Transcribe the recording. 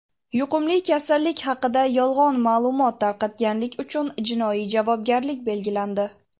Yuqumli kasallik haqida yolg‘on ma’lumot tarqatganlik uchun jinoiy javobgarlik belgilandi.